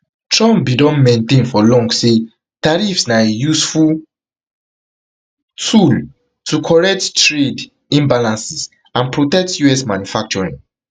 trump bin don maintain for long say tariffs na a useful tool to correct trade imbalances and protect us manufacturing